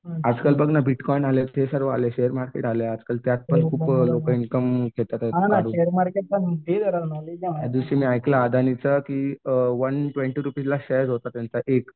आजकाल बघ ना बिटकॉइन आले ते सर्व आले मार्केट आले आजकाल त्यातपण खूप इन्कम घेतायेत काढून. एक दिवशी ऐकलं मी अदानींच की अ वन ट्वेन्टी रुपयाला शेअर होता त्यांचा एक